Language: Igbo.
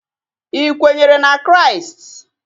Ị kwenyere na Kraịst?